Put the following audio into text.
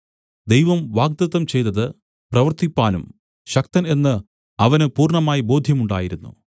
ദൈവം വാഗ്ദത്തം ചെയ്തതു പ്രവർത്തിപ്പാനും ശക്തൻ എന്നു അവന് പൂർണ്ണമായി ബോധ്യമുണ്ടായിരുന്നു